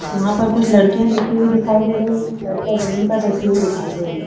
यहाँ पर कुछ लड़कियां बैठी हुई दिखाई दे रही है। लड़कियां जमीन पर बैठे हुई दिखाई दे रही है।